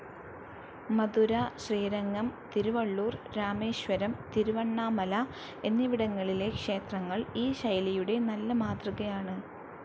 മധുര, ശ്രീരംഗം, തിരുവള്ളൂർ, രാമേശ്വരം, തിരുവണ്ണാമല എന്നിവിടങ്ങളിലെ ക്ഷേത്രങ്ങൾ ഈ ശൈലിയുടെ നല്ല മാതൃകയാണ്.